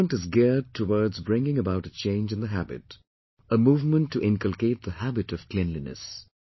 This movement is geared towards bringing about a change in the habit, a movement to inculcate the HABIT of cleanliness